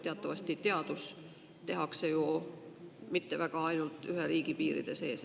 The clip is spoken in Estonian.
Teatavasti ei tehta teadust ju mitte ainult ühe riigi piiride sees.